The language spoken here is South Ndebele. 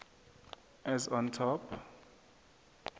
as on top